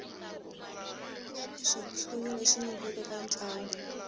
xitshunxo lexi nyikiweke eka ntlangu